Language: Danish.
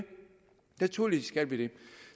naturligvis skal vi